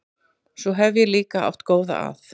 Svo hef ég líka átt góða að.